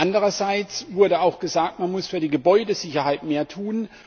Andererseits wurde auch gesagt Man muss für die Gebäudesicherheit mehr tun.